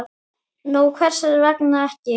Nú, hvers vegna ekki?